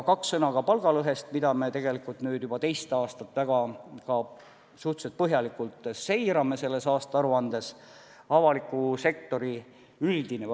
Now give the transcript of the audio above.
Kaks sõna ka palgalõhest, mida me tegelikult nüüd juba teist aastat suhteliselt põhjalikult seirame selles aastaaruandes.